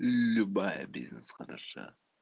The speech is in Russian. любая бизнес хороша